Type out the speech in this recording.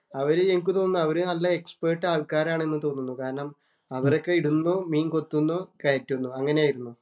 അവര് ഞങ്ങക്ക് തോന്നുന്നു. അവരെല്ലാം നല്ല എക്സ്പെര്‍ട്ട് ആൾക്കാരാണ് എന്ന് തോന്നുന്നു. അവരൊക്കെ ഇടുന്നു, മീൻ കൊത്തുന്നു, കയറ്റുന്നു. അങ്ങനെയായിരുന്നു.